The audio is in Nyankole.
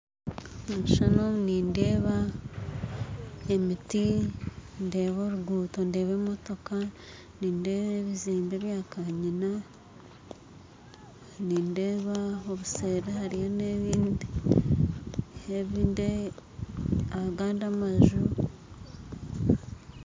Omu kishushani eki nindeebamu oruguuto, emiti, emootoka, ebizimbe byakanyina kandi seeri nindeeba hariyo agandi amaju.